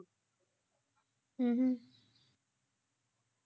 ਹਮ